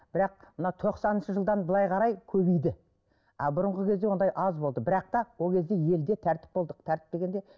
бірақ мына тоқсаныншы жылдан былай қарай көбейді а бұрынғы кезде ондай аз болды бірақ та ол кезде елде тәртіп болдық тәртіп дегенде